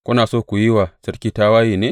Kuna so ku yi wa sarki tawaye ne?